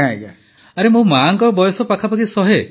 ପ୍ରଧାନମନ୍ତ୍ରୀ ଆରେ ମୋ ମାଙ୍କ ବୟସ ପାଖାପାଖି ଶହେ